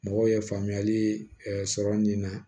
Mɔgɔw ye faamuyali sɔrɔ nin na